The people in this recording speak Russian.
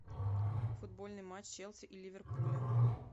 футбольный матч челси и ливерпуля